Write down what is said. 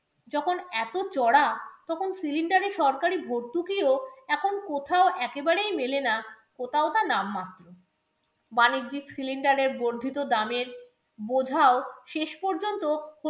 যখন এতো চড়া, তখন cylinder এ সরকারি ভর্তুকিও এখন কোথাও একেবারেই মেলে না, ওটা একটা নাম মাত্র বাণিজ্যিক cylinder এ বর্ধিত দামের বোঝাও শেষ পর্যন্ত